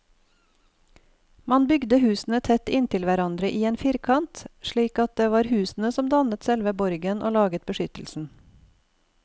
Man bygde husene tett inntil hverandre i en firkant, slik at det var husene som dannet selve borgen og laget beskyttelsen.